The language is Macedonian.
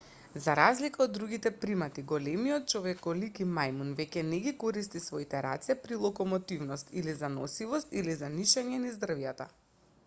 за разлика од другите примати големите човеколики мајмуни веќе не ги користат своите раце при локомотивност или за носивост или за нишање низ дрвјата